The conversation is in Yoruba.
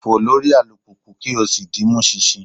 Fo lori alupupu ki o si di mi mu ṣinṣin